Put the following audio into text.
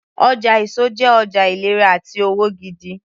Ọjà èso jẹ́ ọjà ìlera àti òwò gidi